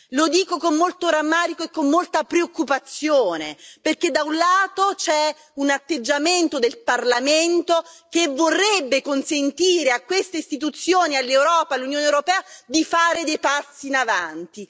Lo dico con molto rammarico e con molta preoccupazione perché, da un lato, c'è un atteggiamento del Parlamento che vorrebbe consentire a queste istituzioni e all'Unione europea di fare dei passi avanti.